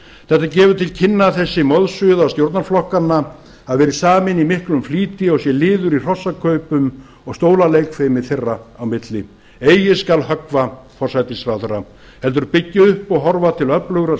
þetta gefur til kynna að þessi moðsuða stjórnarflokkanna hafi verið samin í miklum flýti og sé liður í hrossakaupum og stólaleikfimi þeirra á milli eigi skal höggva forsætisráðherra heldur byggja upp og horfa til öflugrar